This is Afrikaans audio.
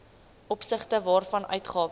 opsigte waarvan uitgawes